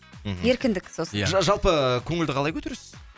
мхм еркіндік сосын жалпы көңілді қалай көтересіз